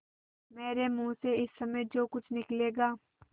मेरे मुँह से इस समय जो कुछ निकलेगा